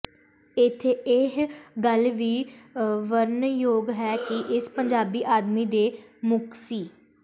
ਇੱਥੇ ਇਹ ਗੱਲ ਵੀ ਵਰਨਣਯੋਗ ਹੈ ਕਿ ਇਸ ਪੰਜਾਬੀ ਅਕਾਦਮੀ ਦੇ ਮੁਖੀ ਸ